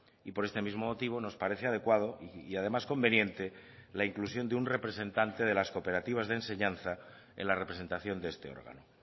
y por este mismo motivo nos parece adecuado y además conveniente la inclusión de un representante de las cooperativas de enseñanza en la representación de este órgano